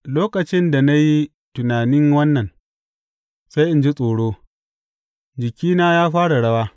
Lokacin da na yi tunanin wannan, sai in ji tsoro; jikina yă fara rawa.